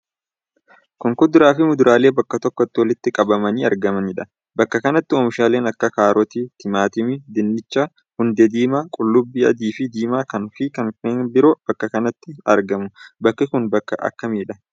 Kun kuduraa fi muduraalee bakka tokkotti walitti qabamanii argamaniidha. bakka kanatti oomishaaleen akka kaarotii, timaatimii, dinnicha, hundee diimaa, qullubbii adiifi diimaa fi kanneen biroo bakka kantti argamu. Bakki kun bakka akkamiidha?